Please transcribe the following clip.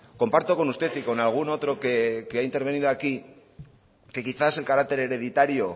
comparto con usted y con algún otro que ha intervenido aquí que quizás el carácter hereditario